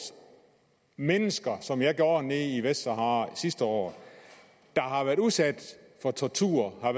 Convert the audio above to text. mennesker som jeg gjorde nede i vestsahara sidste år der har været udsat for tortur